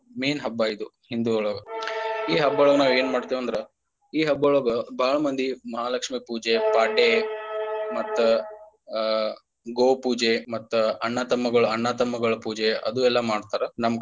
Main ಹಬ್ಬ ಇದು ಹಿಂದೂಗಳೊಳಗ ಈ ಹಬ್ಬ ಒಳಗ ನಾವ ಏನ ಮಾಡ್ತೇವೆಂದ್ರ ಈ ಹಬ್ಬ ಒಳಗ ಬಾಳ ಮಂದಿ ಮಹಾಲಕ್ಷ್ಮಿ ಪೂಜೆ ಪಾಡ್ಯ ಮತ್ತ ಆ ಗೋವು ಪೂಜೆ ಮತ್ತ ಅಣ್ಣ ತಮ್ಮಗಳ ಅಣ್ಣ ತಮ್ಮಗಳ ಪೂಜೆ ಅದು ಎಲ್ಲಾ ಮಾಡ್ತಾರ ನಮ್ಮ ಕಡೆ.